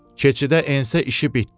Keçidə ensə işi bitdi.